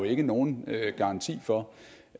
ikke nogen garanti for